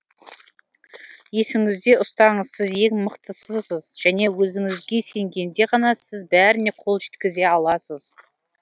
есіңізде ұстаңыз сіз ең мықтысысыз және өзіңізге сенгенде ғана сіз бәріне қол жеткізе аласыз